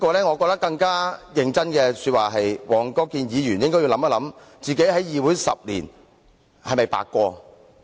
我真的覺得黃國健議員應要考慮一下，他在議會10年是否白過。